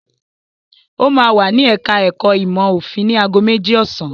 Ó máa wà ní ẹ̀ka-ẹ̀kọ́ ìmọ̀-òfin ní ago méjì ọ̀sán.